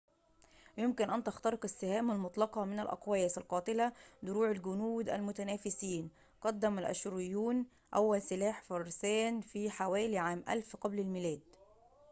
يمكن أن تخترق السهام المُطلقة من الأقواس القاتلة دروع الجنود المتنافسين قدم الآشوريون أول سلاح فرسان في حوالي عام 1000 قبل الميلاد